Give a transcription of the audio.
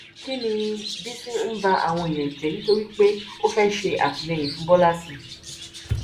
kín ni bísí ń ba àwọn èèyàn jẹ nítorí pé ó fẹẹ ṣe àtìlẹyìn fún bọlá sí